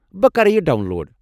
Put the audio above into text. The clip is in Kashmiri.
بہٕ کرٕ یہِ ڈاون لوڈ ۔